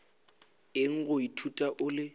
eng go ithuta o le